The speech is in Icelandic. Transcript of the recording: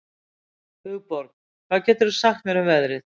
Hugborg, hvað geturðu sagt mér um veðrið?